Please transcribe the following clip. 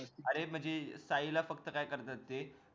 अरे म्हणजे साई ला फक्त काय करतात ते